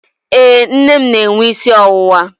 Ee, nne m na-enwe isi ọwụwa.